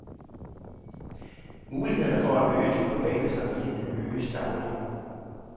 Mulighederne for at øge den globale samvittighed øges daglig.